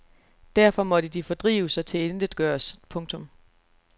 Derfor måtte de fordrives og tilintetgøres. punktum